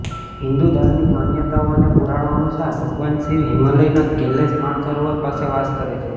હિંદુ ધાર્મિક માન્યતાઓ અને પુરાણો અનુસાર ભગવાન શિવ હિમાલયના કૈલાશ માનસરોવર પર વાસ કરે છે